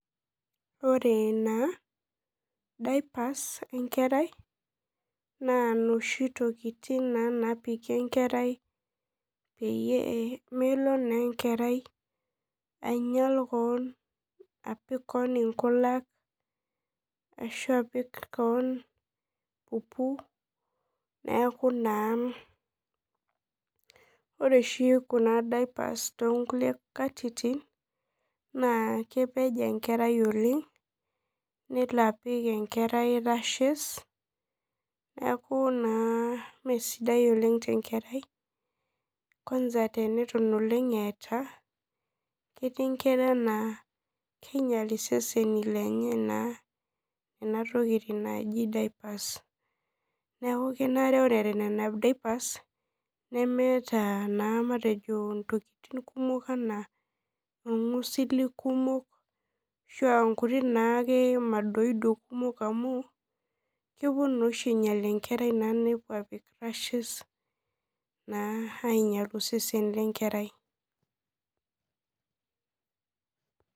Ore na dipers enkerai na noshitokitin napiki enkerai pemelo na enkerai ainyal keon apik keonnkulak ashu apik keon pupu neaku na ore oshi kuna dipers tonkulie katitin kepej enkerai oleng nelo apik rashes neaku na mesidai oleng tenkerai ketii nkera na kinyel isesenj lenye neaku kenare ore eeta dupers neemeta ntokitin kumok naijo irngusili a kumok ashu nkuti madoido kumok amu kepuo na ainyel enkerai nepuo ainyel osesen lenkerai.